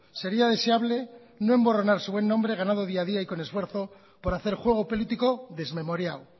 sería deseable no emborronar su buen nombre ganado día a día y con esfuerzo por hacer juego político desmemoriado